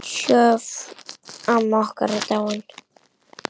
Sjöfn, amma okkar, er dáin.